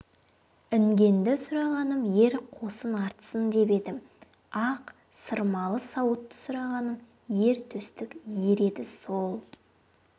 інгенді сұрағаным ер қосын артсын деп едім ақсырмалы сауытты сұрағаным ер төстік ер еді сол